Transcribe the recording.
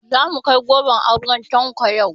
Zamu kai goron auren Tanko yau